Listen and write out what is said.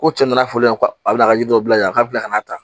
Ko cɛ nana fɔlen yan ko a bi ka ji dɔ bila yan k'a bila ka n'a ta